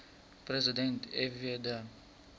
president fw de